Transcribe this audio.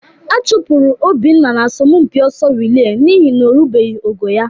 A chụpụrụ Obinna n'asọmpi ọsọ rịlee n'ihi na o rubeghị ogo ya